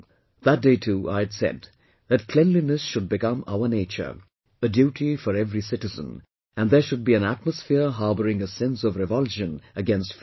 That day too I had said that cleanliness should become our nature, a duty for every citizen and there should be an atmosphere harbouring a sense of revulsion against filth